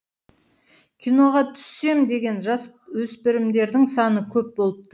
киноға түссем деген жасөспірімдердің саны көп болыпты